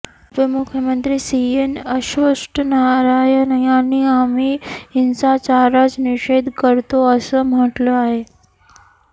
उपमुख्यमंत्री सीएन अश्वथ नारायण यांनी आम्ही या हिंसाचाराच निषेध करतो असं मह्टलं आहे